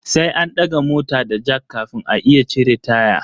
Sai an daga mota da jack kafin a iya cire taya.